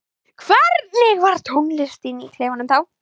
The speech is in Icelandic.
Hvernig var tónlistin í klefanum þá?